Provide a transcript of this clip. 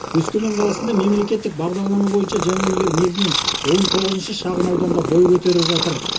өскемен қаласында мемлекеттік бағдарлама бойынша жаңа үйлер негізінен он тоғызыншы шағын ауданда бой көтеріп жатыр